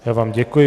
Já vám děkuji.